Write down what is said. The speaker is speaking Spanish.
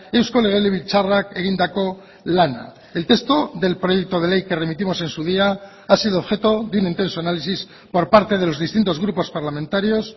eusko legebiltzarrak egindako lana el texto del proyecto de ley que remitimos en su día ha sido objeto de un intenso análisis por parte de los distintos grupos parlamentarios